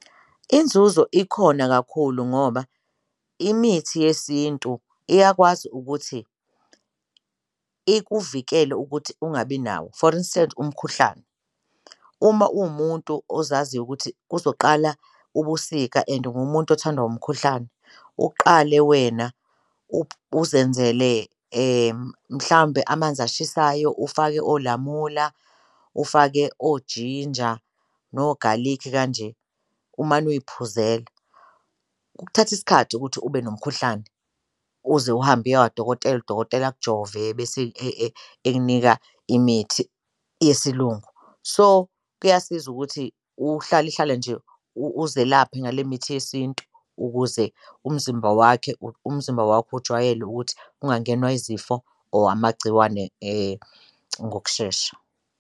Inzuzo ikhona kakhulu ngoba imithi yesintu iyakwazi ukuthi ikuvikele ukuthi ungabi nawo. For instance, umkhuhlane, uma uwumuntu ozaziyo ukuthi kuzoqala ubusika and ungumuntu othandwa umkhuhlane uqale wena uzenzele mhlawumbe amanzi ashisayo ufake olamula, ufake ojinja nogalikhi kanje, umane uyiphuzela. Kuthatha isikhathi ukuthi ube nomkhuhlane uze uhambe uye kwadokotela, udokotela akujove bese ekunika imithi yesiLungu. So, kuyasiza ukuthi uhlale uhlale nje uzelaphe ngale mithi yesintu ukuze umzimba wakhe, umzimba wakho ujwayele ukuthi ungangenwa izifo or amagciwane ngokushesha.